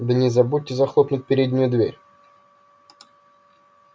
да не забудьте захлопнуть переднюю дверь